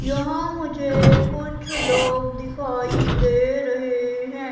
यहां मुझे कुछ लोग दिखाई दे रहे है।